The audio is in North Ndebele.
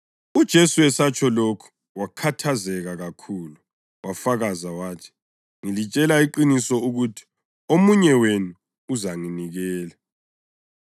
UJesu esatsho lokhu wakhathazeka kakhulu wafakaza wathi, “Ngilitshela iqiniso ukuthi omunye wenu uzanginikela.”